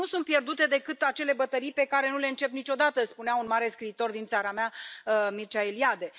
Nu sunt pierdute decât acele bătălii pe care nu le începi niciodată, spunea un mare scriitor din țara mea, Mircea Eliade.